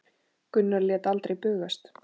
Gunnar lét aldrei bugast.